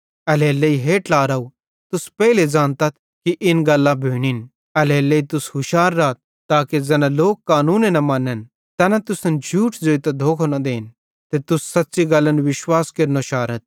एल्हेरेलेइ हे ट्लारव तुस पेइले ज़ानतथ कि इना गल्लां भोनिन एल्हेरेलेइ तुस हुशार राथ ताके ज़ैना लोक कानूने न मनन तैना तुसन झूठ ज़ोइतां धोखो न देन ते तुस सेच़्च़ी गल्लन विश्वास केरनो शारथ